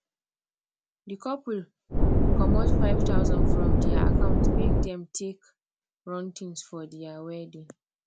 the couple comot fie thousand from their account make dem take run things for their wedding